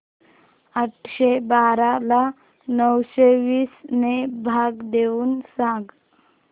आठशे बारा ला नऊशे वीस ने भाग देऊन सांग